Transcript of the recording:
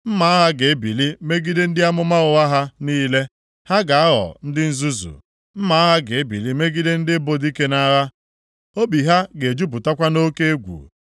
Mma agha ga-ebili megide ndị amụma ụgha ha niile. Ha ga-aghọ ndị nzuzu. Mma agha ga-ebili megide ndị bụ dike nʼagha. Obi ha ga-ejupụtakwa nʼoke egwu.